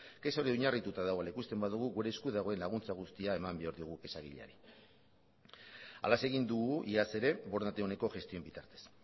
kexa hori oinarrituta dagoela ikusten badugu gure esku dagoen laguntza guztia eman behar diogu kexa egileari halaxe egin dugu iaz ere borondate oneko gestioen bitartez